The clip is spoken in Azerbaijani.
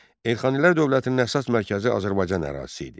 Elxanilər dövlətinin əsas mərkəzi Azərbaycan ərazisi idi.